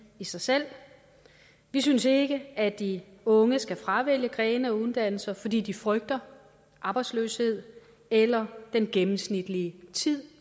i sig selv vi synes ikke at de unge skal fravælge grene af uddannelser fordi de frygter arbejdsløshed eller den gennemsnitlige tid